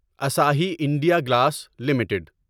Asahi India Glass limited